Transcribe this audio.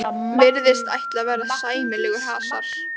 Virðist ætla að verða sæmilegur hasar.